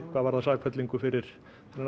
hvað varðar sakfellingu fyrir þennan